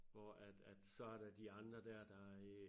Hvor at at så der de andre dér der øh